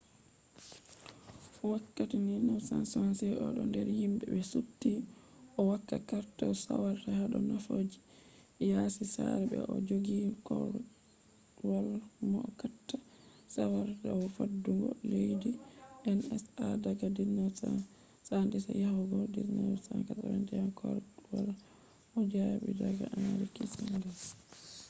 wakkati 1976 odo der himbe be supti o'hokka carter saawara hado nafooji yasi sare se bo o jogi korwal mohokkata saawara dau faddungo leddi nsa daga 1977 yahugo 1981 korwal o jabi daga henry kissinger